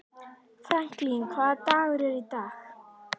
Franklin, hvaða dagur er í dag?